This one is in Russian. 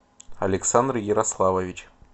александр ярославович